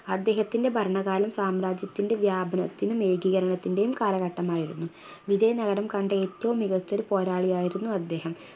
അദ്ദേഹത്തിൻറെ ഭരണകാലം സാമ്രാജ്യത്തിൻറെ വ്യാപനത്തിനും ഏകീകരണത്തിൻറെയും കാലഘട്ടമായിരുന്നു വിജയ നഗരം കണ്ട ഏറ്റവും മികച്ചൊരു പോരാളിയായിരുന്നു അദ്ദേഹം